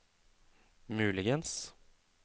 muligens